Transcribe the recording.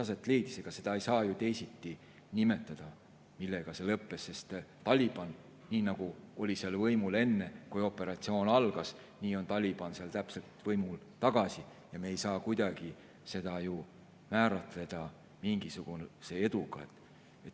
Ega seda, millega see lõppes, ei saa ju teisiti nimetada, sest nii nagu Taliban oli seal võimul enne, kui operatsioon algas, nii on Taliban seal nüüd võimul tagasi ja me ei saa kuidagi seda ju määratleda mingi eduna.